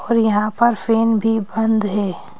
और यहां पर फेन भी बंद है।